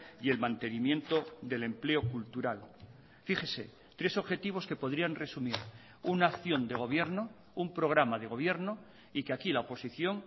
y el mantenimiento del empleo cultural fíjese tres objetivos que podrían resumir una acción de gobierno un programa de gobierno y que aquí la oposición